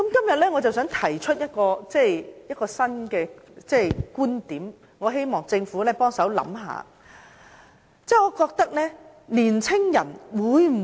我想在今天提出一個新的觀點，希望政府可以幫忙想一想。